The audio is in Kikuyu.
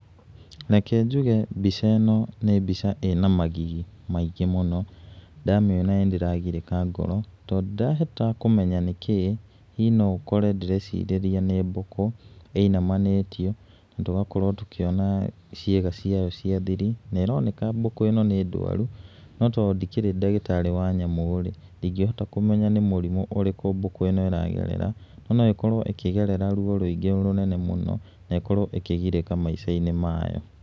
Reke njuge mbica ĩno nĩ mbica ĩna magigi maingĩ mũno, ndamĩona nĩ ndĩragirĩka ngoro tondũ ndirahota kũmenya nĩkĩ. Hihi no ũkore ndĩrecirĩria nĩ mbukũ ĩinamanĩtio, tũrakora tũkĩona ciĩga ciayo cia thiri, na ĩroneka mbũkũ ĩno nĩ ndwaru, no tondũ ndikĩrĩ ndagĩtarĩ wa nyamũ rĩ, ndingĩhota kũmenya nĩ mũrimũ ũrĩkũ mbũkũ ĩno ĩragerera. No ĩkorwo ĩkĩgerera ruo rwĩngĩ mũno mũno na ĩkorwo ĩkĩgirĩka maica-inĩ mayo.